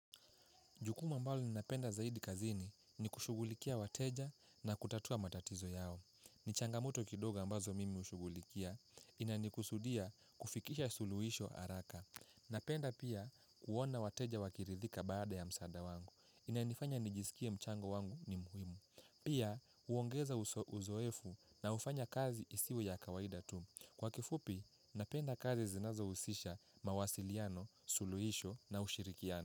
Jukumu ambalo ninapenda zaidi kazini ni kushughulikia wateja na kutatua matatizo yao. Ni changamoto kidoga ambazo mimi hushughulikia, inanikusudia kufikisha suluhisho haraka. Napenda pia kuona wateja wakirithika baada ya msaada wangu. Inanifanya nijisikie mchango wangu ni muhimu. Pia huongeza uzoefu na hufanya kazi isiwe ya kawaida tu. Kwa kifupi, napenda kazi zinazohusisha mawasiliano, suluhisho na ushirikiano.